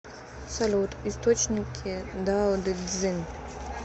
салют источники дао дэ цзин